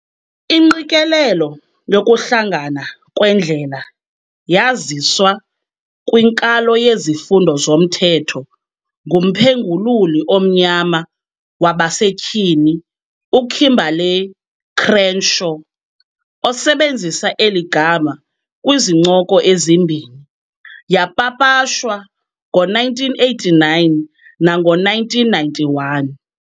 Ingqikelelo yokuhlangana kweendlela yaziswa kwinkalo yezifundo zomthetho ngumphengululi omnyama wabasetyhini uKimberlé Crenshaw, osebenzisa eli gama kwizincoko ezimbini. yapapashwa ngo-1989 nango-1991.